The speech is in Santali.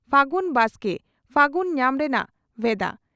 ᱯᱷᱟᱹᱜᱩᱱ ᱰᱟᱠᱛᱮ ᱯᱷᱟᱹᱜᱩᱱ ᱧᱟᱢ ᱨᱮᱱᱟᱜ ᱵᱷᱮᱫᱟ